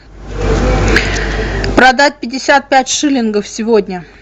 продать пятьдесят пять шиллингов сегодня